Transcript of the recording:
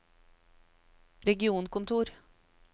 regionkontor